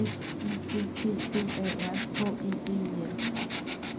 S I G T B A R H E D E N